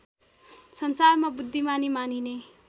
संसारमा बुद्धिमानी मानिने